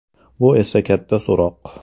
Bu esa katta so‘roq.